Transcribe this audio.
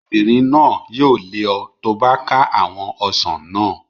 Obìnrin náà yóò lé ọ tó bá ká àwọn ọsàn naa